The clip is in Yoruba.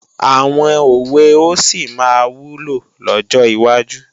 Àwọn òwe ó sì máa wúlò lọ́jọ́ wájú